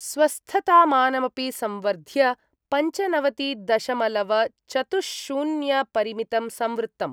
स्वस्थतामानमपि संवर्ध्य पञ्चनवतिदशमलवचतुश्शून्यपरिमितम् संवृत्तम्।